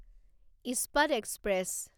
ইস্পাত এক্সপ্ৰেছ